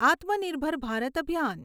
આત્મનિર્ભર ભારત અભિયાન